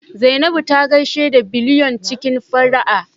Zainabu ta gaishe da Biliyon cikin fara'a